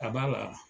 A ba la